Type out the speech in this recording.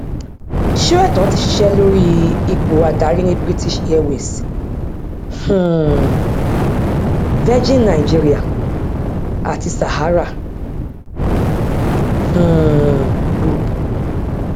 sóẹtàn ti ṣiṣẹ lórí ipò adarí ní british airways um virgin nigeria àti sahara um group